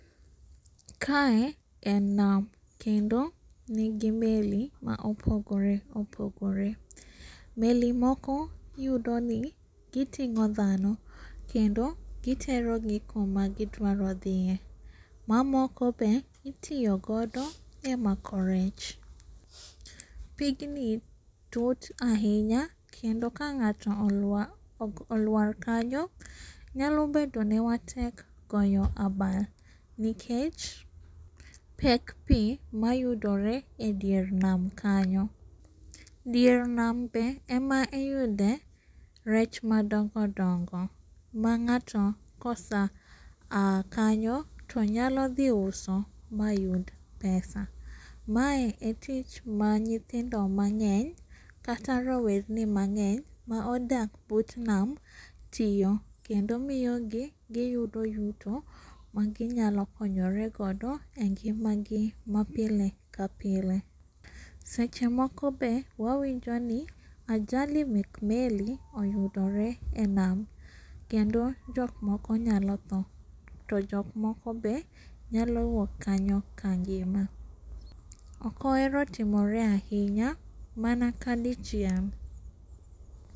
Kae en nam kendo nigi meli maopogore opogore. Meli moko yudoni giting'o kendo giterogi kuma gidwaro dhie. Mamoko be itiyo godo e mako rech. Pigni tut ahinya, kendo ka ng'ato oluar kanyo nyalo bedone matek goyo abal nikech pek pii mayudore e dier nam kanyo. Dier nam be ema iyude rech madongo dongo mang'ato kosa aa kanyo tonyalo dhiuso mayud pesa. Mae e tich manyithindo mang'eny kata rowerni mang'eny maodak but nam tiyo, kendo miyogi giyudo yuto maginyalo konyore godo e ngimagi mapiel kapile. Seche moko be wawinjo ni ajali mek meli oyudore e nam kendo jokmoko nyalo tho to jokmoko be nyalo wuok kanyo kangima. Okohero timore ahinya mana ka dichiel.